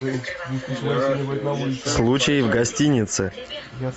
случай в гостинице